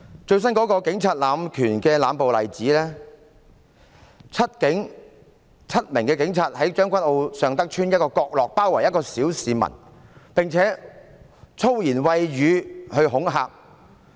最新的警察濫權、濫暴的例子，就是7名警察在將軍澳尚德邨一個角落包圍一名小市民，並且以粗言穢語恐嚇他。